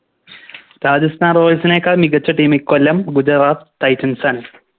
Rajasthan royals നേക്കാൾ മികച്ച Team ഇക്കൊല്ലം Gujarat titans ആണ്